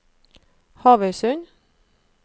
Havøysund